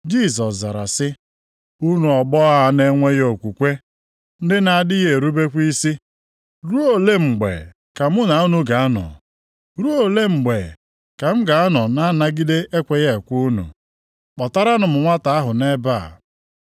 Jisọs zara sị, “Unu ọgbọ a na-enweghị okwukwe, ndị na-adịghị erubekwa isi. Ruo ole mgbe ka mụ na unu ga-anọ? Ruo ole mgbe ka m ga-anọ na-anagide ekweghị ekwe unu? Kpọtaranụ m nwata ahụ nʼebe a.”